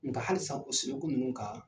Nga halisa o siriku ninnu kan